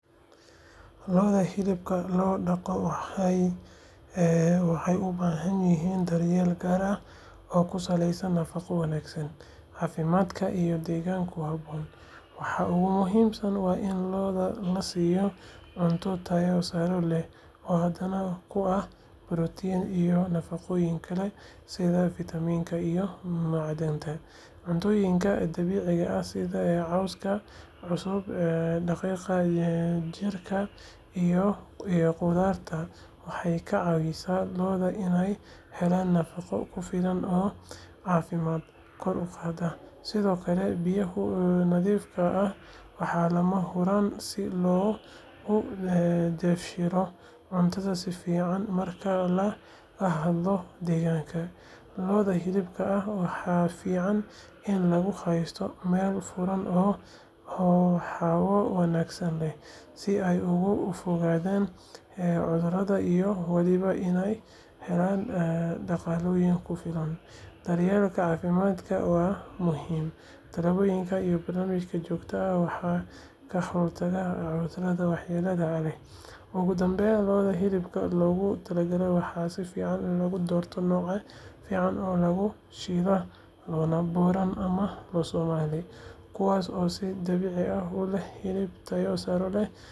Lo'da hilibka loo dhaqo waxay u baahan yihiin daryeel gaar ah oo ku saleysan nafaqo wanaagsan, caafimaad iyo deegaan ku habboon. Waxa ugu muhiimsan waa in lo'da la siiyo cunto tayo sare leh oo hodan ku ah borotiinka iyo nafaqooyinka kale sida fiitamiinada iyo macdanta. Cuntooyinka dabiiciga ah sida cawska cusub, daqiiqda digirta, iyo qudaarta waxay ka caawinayaan lo'da inay helaan nafaqo ku filan oo caafimaadkooda kor u qaada. Sidoo kale, biyaha nadiifka ah waa lama huraan si lo'du u dheefshiido cuntada si fiican. Marka laga hadlayo deegaanka, lo'da hilibka ah waxaa fiican in lagu haysto meelo furan oo hawo wanaagsan leh, si ay uga fogaadaan cudurrada iyo waliba inay helaan dhaqdhaqaaq ku filan. Daryeelka caafimaadna waa muhiim; tallaalada iyo baaritaanada joogtada ah ayaa ka hortaga cudurrada waxyeelada leh. Ugu dambeyn, lo'da hilibka loogu talagalay waxaa fiican in la doorto noocyo fiican oo caan ah sida lo'da Boran ama lo'da Somali, kuwaas oo si dabiici ah u leh hilib tayo sare leh iyo adkaysi deegaan. Markasta waxaa lagu dadaalaa in lo'da la siiyo daryeel buuxa si hilibkoodu u noqdo mid tayo sare leh, macaan, isla markaana caafimaad qaba.